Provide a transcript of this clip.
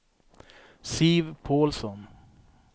Siv Pålsson